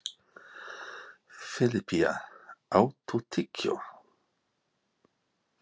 Filippía, áttu tyggjó?